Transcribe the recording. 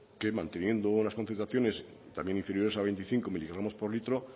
que manteniendo las concentraciones también inferiores a veinticinco mg l